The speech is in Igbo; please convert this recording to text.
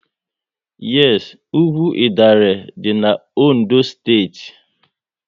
Yes, ugwu Idanre dị n'Ondo steeti